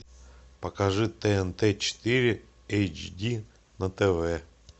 покажи тнт четыре эйч ди на тв